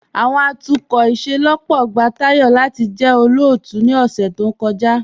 Awọn atukọ ìṣẹlọ́pọ̀ gba Tayọ̀ lati jẹ́ olóótù ni ọ̀ṣẹ̀ tó kọja.